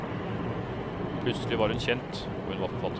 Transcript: Plutselig var hun kjent, og hun var forfatter.